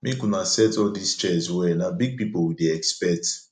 make una set all dis chairs well na big people we dey expect